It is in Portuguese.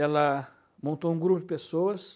Ela montou um grupo de pessoas.